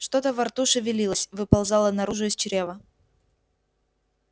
что-то во рту шевелилось выползало наружу из чрева